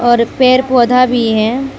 और पेर पौधा भी हैं।